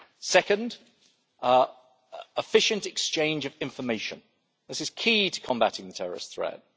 Second, an efficient exchange of information is key to combating the terrorist threat.